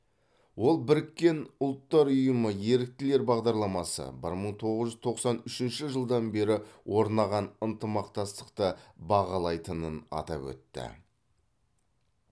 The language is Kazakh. ол біріккен ұлттар ұйымы еріктілер бағдарламасы бір мың тоғыз жүз тоқсан үшінші жылдан бері орнаған ынтымақтастықты бағалайтынын атап өтті